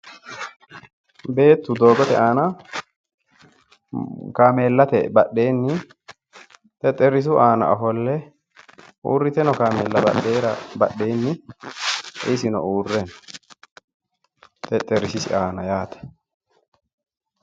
Beettu doogote kaameellate badheenni xexxerisu aana ofolle uurrite noo kaameellara hatteera badheenni isino uurre no. Xexxerrisisi aana yaate.